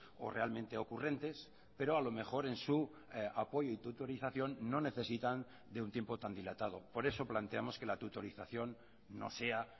o realmente ocurrentes pero a lo mejor en su apoyo y tutorización no necesitan de un tiempo tan dilatado por eso planteamos que la tutorización no sea